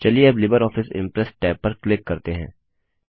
चलिए अब LibreOffice Impress tab पर क्लिक करते हैं